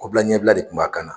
Kɔbila ɲɛbila de kun b'a kan na.